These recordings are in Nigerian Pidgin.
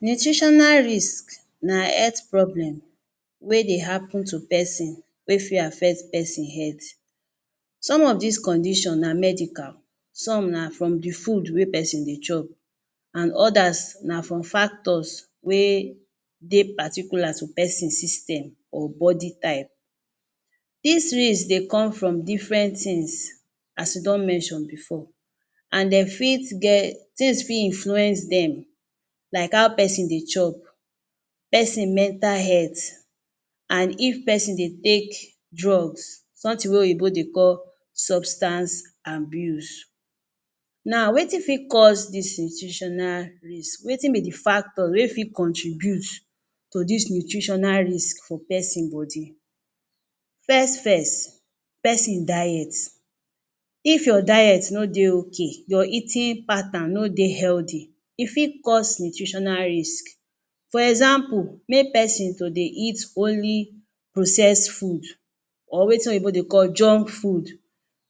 Nutritional risk na health problem wey dey happen to pesin. Wey fit affect pesin health. Some of des condition na medical, some na from thew food wey pesin dey chop and others na from factors wey dey particular to pesin system or body type. Dis risks dey come from different things as we don mention before. And de fit get things fit influence dem. Like how pesin dey chop, pesin mental health and if pesin dey take drugs. Something wey Oyinbo dey call substance abuse. Na wetin fit cause dis nutritional risk? Wetin be the factor wey fit contribute to dis nutritional risk for person body. First first, pesin diet. If your diet no dey okay, your eating pattern no dey healthy, e fit cause nutritional risk. For example, make pesin to dey eat only process food or wetin Oyinbo dey call junk food.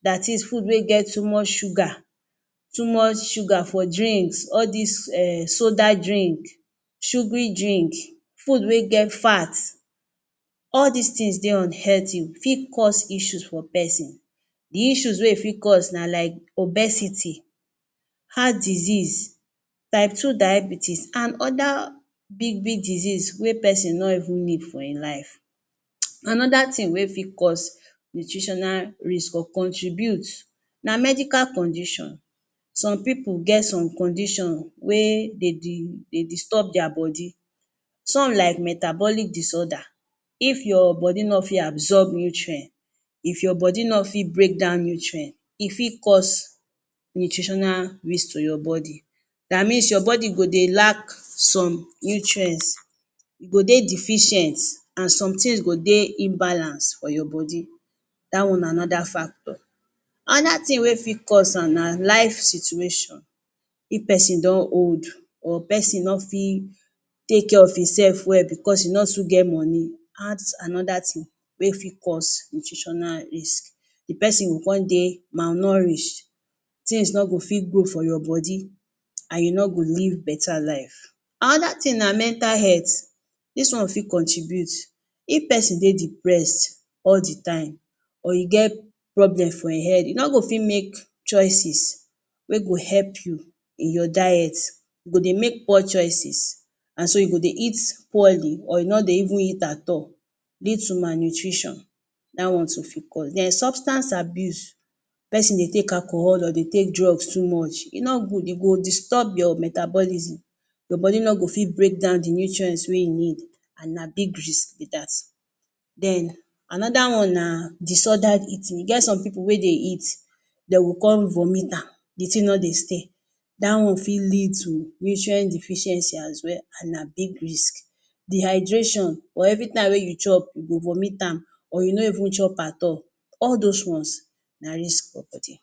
Dat is food wey get too much sugar, too much sugar for drinks. All des um soda drink, sugary drink, food wey get fat. All des things dey unhealthy. E fit cause issue for pesin. The issue wey e fit cause na like obesity, heart disease, type two diabetes and other big big disease wey pesin no even need for e life. um Another thing wey fit cause nutritional risk or contribute, na medical condition. Some pipu get some condition wey dey de dey disturb their body. Some like metabolic disorder. If your body no fit absorb nutrient, if your body no fit breakdown nutrient, e fit cause nutritional risk for your body. dat means your body go dey lack some nutrient. You go dey deficient and some things go dey imbalance for your body. Dat one na another factor. Another thing wey fit cause am na life situation. If pesin don old or person no fit take care of e self well because e no too get money another thing wey fit cause nutritional risk. The pesin go con dey malnourish. Things no go fit good for your body and you no go live better life. Another thing na mental health. Dis one fit contribute. If pesin dey depress all the time or e get problem for e head, e no go fit make choices wey go help you in your diet. You go dey make poor choices and so you go dey eat poorly or you no dey even eat at all due to malnutrition. Dat one too fit cause. Den substance abuse. Pesin dey take alcohol or dey take drug too much, e no good. E go disturb your metabolism. Your body no go fit breakdown the nutrient wey you need and na big risk be dat. Den another disordered eating. E get some pipu wey dey eat, de go con vomit am. The thing no dey stay. Dat one fit led to nutrient deficiency as well and na big risk. Dehydration or every time wey you chop, you go vomit am or you no even cho at all. All dos ones na risk for body